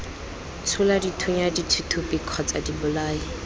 tshola dithunya dithuthupi kgotsa dibolai